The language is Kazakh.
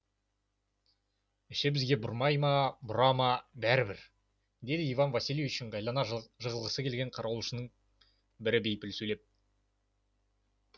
іші бізге бұрмай ма бұра ма бәрібір деді иван васильевич ыңғайына жығылғысы келген қарауылшынын бірі бейпіл сөйлеп